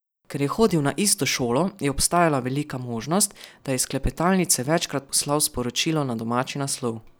Ker je hodil na isto šolo, je obstajala velika možnost, da je iz klepetalnice večkrat poslal sporočilo na domači naslov.